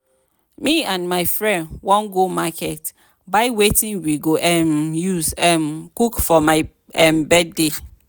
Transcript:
me and my friend wan go market buy wetin we go um use um cook for my um birthday